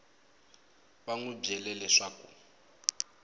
va n wi byele leswaku